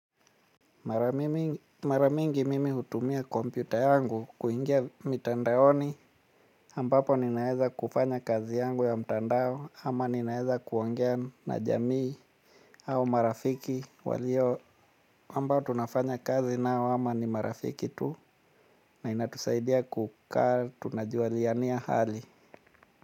Mara mingi mimi hutumia kompyuta yangu kuingia mitandaoni ambapo ninaweza kufanya kazi yangu ya mtandao ama ninaweza kuongea na jamii au marafiki walio ambao tunafanya kazi nao ama ni marafiki tu na inatusaidia kukaa tunajualiania hali.